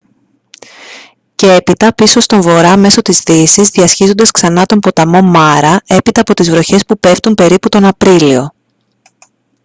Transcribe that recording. και έπειτα πίσω στον βορρά μέσω της δύσης διασχίζοντας ξανά τον ποταμό μάρα έπειτα από τις βροχές που πέφτουν περίπου τον απρίλιο